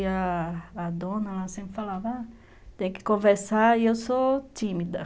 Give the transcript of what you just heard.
E a a dona, ela sempre falava, tem que conversar e eu sou tímida.